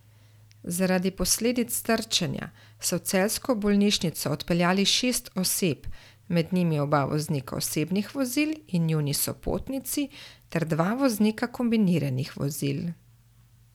Zaradi posledic trčenja so v celjsko bolnišnico odpeljali šest oseb, med njimi oba voznika osebnih vozil in njuni sopotnici ter dva voznika kombiniranih vozil.